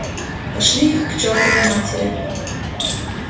пошли их к чёртовой матери